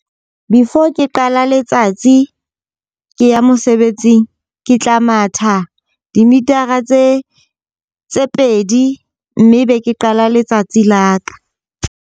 Before ke qala letsatsi ke ya mosebetsing, ke tla matha dimitara tse tse pedi. Mme be ke qala letsatsi la ka.